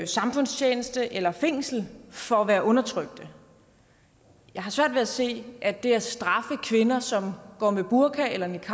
samfundstjeneste eller fængsel for at være undertrykte jeg har svært ved at se at det at straffe kvinder som går med burka eller niqab